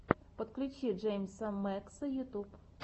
подключи джеймса мэкса ютьюб